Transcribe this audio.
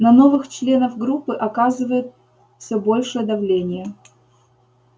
на новых членов группы оказывают всё большее давление